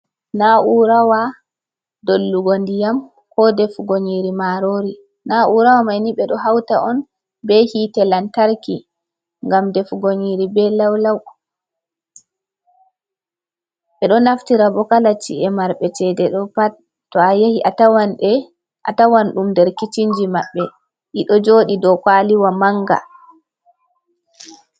Na'urawa dollugo ndiyam, ko defugo nƴiri maarori. Na'urawa mai ni, ɓe ɗo hauta on be hiite lantarki, ngam defugo nƴiri be law-law. Ɓe ɗo naftira bo kala ci’e marɓe cede ɗo pat. To a yahi a tawan ɗum nder kicin ji maɓɓe ɗi ɗo jooɗi dow kwaliwa manga.